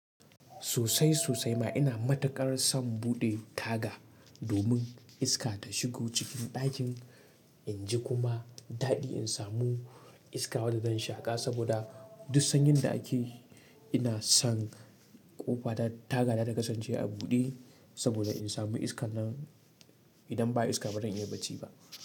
Sosai sosai ma ina matuƙar son buɗe taga, domin iska ta shigo cikin ɗakin, in ji kuma daɗi in samu iska wadda zan shaƙa saboda duk sanyin da ake, ina san ƙofa ta, taga ta ta kasance a buɗe, saboda in samu iskan nan, idan ba iska ba ran iya bacci ba.